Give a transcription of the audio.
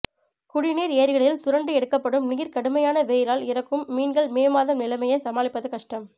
குடிநீர் ஏரிகளில் சுரண்டி எடுக்கப்படும் நீர் கடுமையான வெயிலால் இறக்கும் மீன்கள் மே மாதம் நிலைமையை சமாளிப்பது கஷ்டம்